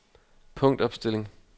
punktopstilling